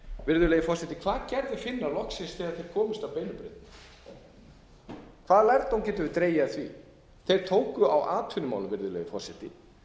virðulegi forseti hvað gerðu finnar loksins þegar þeir komust á beinu brautina hvaða lærdóm getum við dregið af því þeir tóku á atvinnumálum virðulegi forseti